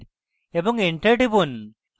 এবং enter টিপুন